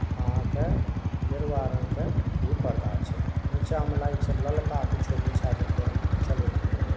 आहां के गेरुआ रंग के भी पर्दा छई। नीच मे लागै छई ललका कुछों बिछा देलकई हेन चले फीरे ला ।